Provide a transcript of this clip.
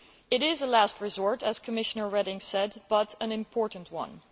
It is a last resort, as Commissioner Reding said, but an important one.